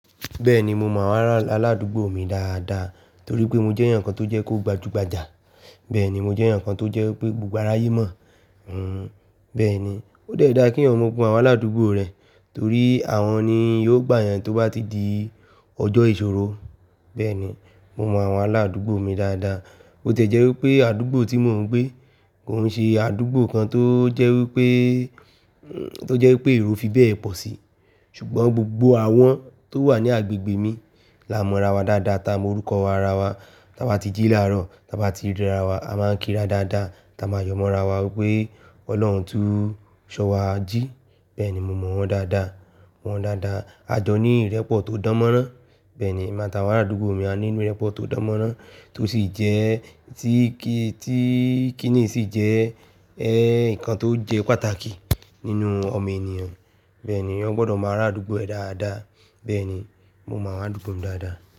Bẹ́ẹ̀ni, mo mọ àwọn aládùúgbò mi dáadáa torí pé mo jẹ́ ẹeyan kan tó jẹ́ pó gbajúgbajà. Bẹ́ẹ̀ni, mo jẹ́ eeyan kan tó jẹ́ pé gbogbo araye mọ̀. Hhn, bẹ́ẹ̀ni. Ó de dá kí eeyan mọ gbogbo àwọn aládùúgbò rẹ̀ torí àwọn ni yóò gbà yan tó bá ti di ọjọ́ ìṣòro. Bẹ́ẹ̀ni, mo mọ àwọn aládùúgbò mi dáadáa. Bo tiẹ̀ jẹ́ wí pé àdúgbò tí mò ń gbé kò n ṣe àdúgbò kan tó jẹ́ wí pé, tó jẹ́ wí pé eró fi bẹ́ẹ̀ pọ̀ sí. Ṣùgbọ́n gbogbo àwọn tó wà ní agbègbè mi la mọ ra wa dáadáa, ta morúkọ ara wa, táa ba ti jí làárọ̀, táa ba ti ríra wa, a máa ń kíra dáadáa, táa máa yọmọ ra wa wípé Ọlọ́run tún ṣọ wa jí. Bẹ́ẹ̀ni, mo mọ wọ́n dáadáa, mọ wọ́n dáadáa. A jọ ní ìrẹ́pọ̀ tó dánmọ́rán. Bẹ́ẹ̀ni, emi a tawọn aládùúgbò mi á ní inú ìrẹ́pọ̀ tó dánmọ́rán tó sì jẹ́ tí kí, tí kì ní sì jẹ́ ẹ, nnkan tó jẹ́ pàtàkì nínú ọmọ enìyàn. Bẹ́ẹ̀ni, eeyan gbọdọ̀ máa arádúgbò ẹ dáadáa. Bẹ́ẹ̀ni, mo mọ àwọn aládùúgbò mi dáadáa.